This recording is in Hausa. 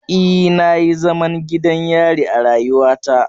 E, na yi zaman gidan yari a rayuwata.